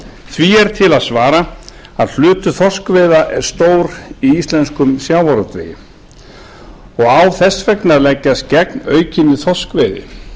því er til að svara að hlutur þorskveiða er stór í íslenskum sjávarútvegi og á þess vegna að leggjast gegn aukinni þorskveiði